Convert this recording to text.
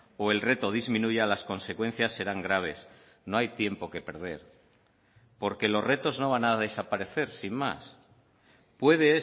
o el reto disminuya las consecuencias serán graves no hay tiempo que perder porque los retos no van a desaparecer sin más puede